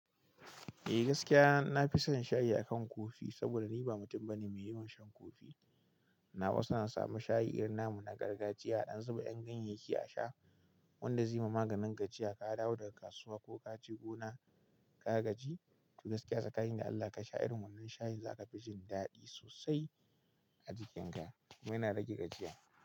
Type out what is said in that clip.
Eh gaskiya na fi son shayi akan Coffee saboda ni ba mutum bane mai yawan shan coffee. Nawa suna samu shayi irin na mu na gargajiya, aɗan zuba ƴan kyenbin biki a sha. Wanda zai ma maganin gajiya, ka dawo da kasuwa ko ka je gona ka gaji, to gaskiya tsakani da Allah ka sha irin wannan shayin za ka fi jin daɗi sosai a jikin ka. Kuma yana rage gajiya.